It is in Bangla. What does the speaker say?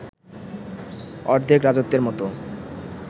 অর্ধেক রাজত্বের মতো